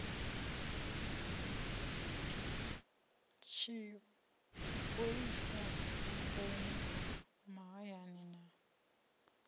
tshipholisa vhuponi ha mahayani na